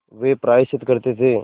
वे प्रायश्चित करते थे